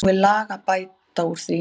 Nú er lag að bæta úr því.